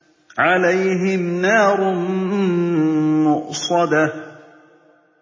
عَلَيْهِمْ نَارٌ مُّؤْصَدَةٌ